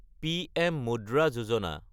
PM মুদ্ৰা যোজনা